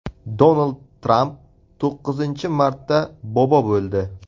Donald Tramp to‘qqizinchi marta bobo bo‘ldi .